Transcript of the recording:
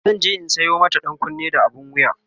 zanje in Sayo mata ɗankunne da abun wuya